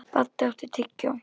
Baddi, áttu tyggjó?